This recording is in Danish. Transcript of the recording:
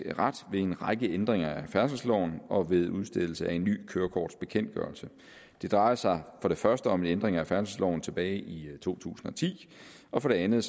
ret ved en række ændringer af færdselsloven og ved udstedelse af en ny kørekortbekendtgørelse det drejer sig for det første om en ændring af færdselsloven tilbage i to tusind og ti og for det andet